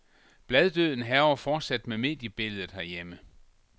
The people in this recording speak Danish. Bladdøden hærger fortsat mediebilledet herhjemme.